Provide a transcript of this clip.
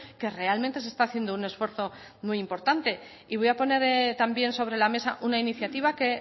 que realmente se está haciendo un esfuerzo muy importante y voy a poner también sobre la mesa una iniciativa que